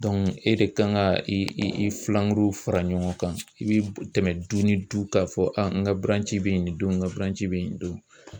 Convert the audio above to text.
e de kan ka i i i fulankuruw fara ɲɔgɔn kan i bi tɛmɛ du ni du k'a fɔ n ka buranci bɛ ye nin don n ka buranci bɛ ye nin don.